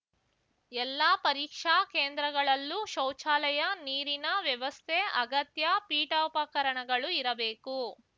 ಎಲ್ಲಾ ಪರೀಕ್ಷಾ ಕೇಂದ್ರಗಳಲ್ಲೂ ಶೌಚಾಲಯ ನೀರಿನ ವ್ಯವಸ್ಥೆ ಅಗತ್ಯ ಪೀಠೋಪಕರಣಗಳು ಇರಬೇಕು